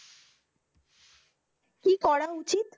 কি করা উচিত?